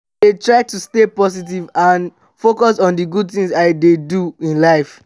i dey try to stay positive and focus on di good things i dey do in life.